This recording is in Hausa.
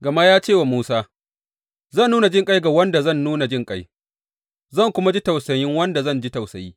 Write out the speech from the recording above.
Gama ya ce wa Musa, Zan nuna jinƙai ga wanda zan nuna jinƙai, zan kuma ji tausayin wanda zan ji tausayi.